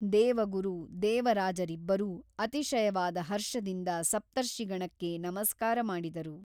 ದೇವಗುರು ದೇವರಾಜರಿಬ್ಬರೂ ಅತಿಶಯವಾದ ಹರ್ಷದಿಂದ ಸಪ್ತರ್ಷಿಗಣಕ್ಕೆ ನಮಸ್ಕಾರ ಮಾಡಿದರು.